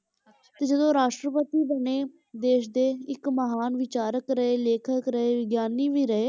ਤੇ ਜਦੋਂ ਰਾਸ਼ਟਰਪਤੀ ਬਣੇ ਦੇਸ ਦੇ ਇੱਕ ਮਹਾਨ ਵਿਚਾਰਕ ਰਹੇ, ਲੇਖਕ ਰਹੇ, ਵਿਗਿਆਨੀ ਵੀ ਰਹੇ,